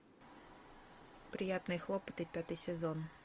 приятные хлопоты пятый сезон